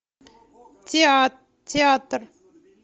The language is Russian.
театр